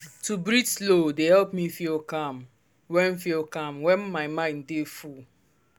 to breathe slow dey help me feel calm when feel calm when my mind dey full.